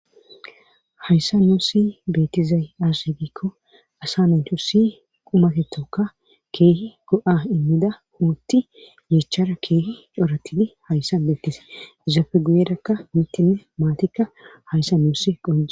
hayssa nuusi beettizay aaze giikko asa natusi qumaketoka keehi go7a immida huutti yeechara keehi coratidi hayssa beettiza izafe guyerakka mittinne maatikka hayssa nuusi qonc'e